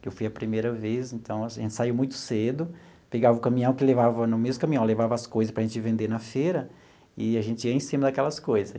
que eu fui a primeira vez, então assim, a gente saiu muito cedo, pegava o caminhão que levava, no mesmo caminhão, levava as coisas para a gente vender na feira, e a gente ia em cima daquelas coisas.